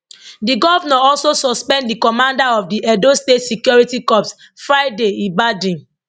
di govnor also suspend di commander of di edo state security corps friday ibadin